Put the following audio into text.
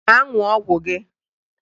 Gaa ṅụọ ọgwụ gị!